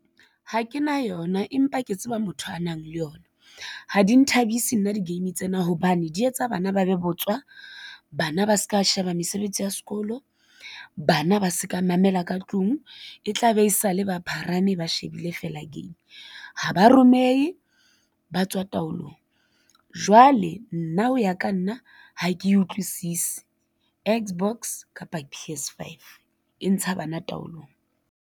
Ha ke na yona, empa ke tseba motho a nang le yona. Ha di nthabise nna di-game tsena hobane di etsa bana ba be botswa, bana ba ska sheba mesebetsi ya sekolo, bana ba se ka mamela ka tlung e tla be e sa le ba pharame ba shebile fela game, ha ba romehe ba tswa taolong. Jwale nna ho ya ka nna, ha ke utlwisisi X box kapa P_S Five e ntsha bana taolong.